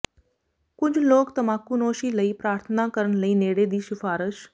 ਕੁਝ ਲੋਕ ਤਮਾਕੂਨੋਸ਼ੀ ਲਈ ਪ੍ਰਾਰਥਨਾ ਕਰਨ ਲਈ ਨੇੜੇ ਦੀ ਸਿਫਾਰਸ਼